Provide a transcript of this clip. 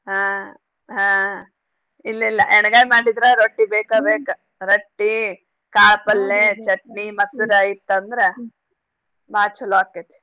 ಹಾ ಹಾ ಇಲ್ಲಿಲ್ಲ ಯಣ್ಗಾಯ್ ಮಾಡಿದ್ರ ರೊಟ್ಟೀ ಬೇಕ ಬೇಕ. ರೊಟ್ಟೀ ಕಾಳ್ ಪಲ್ಲೇ, ಚಟ್ನಿ ಮಸ್ರಾ ಇತ್ತಂದ್ರ ಬಾಳ್ ಚೊಲೋ ಆಕೆತಿ.